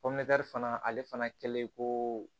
fana ale fana kɛlen koo